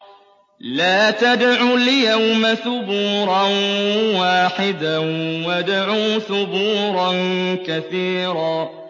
لَّا تَدْعُوا الْيَوْمَ ثُبُورًا وَاحِدًا وَادْعُوا ثُبُورًا كَثِيرًا